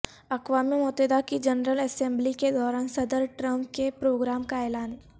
اقوام متحدہ کی جنرل اسمبلی کے دوران صدر ٹرمپ کے پروگرام کا اعلان